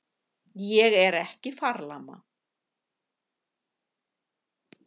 Ég er ekki farlama.